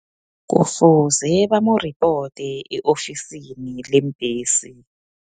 Kufuze bamamuripote, e-ofisini leembhesi.